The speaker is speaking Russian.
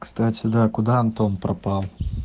кстати да куда антон пропал